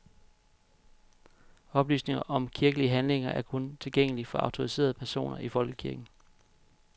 Oplysninger om kirkelige handlinger er kun tilgængelige for autoriserede personer i folkekirken.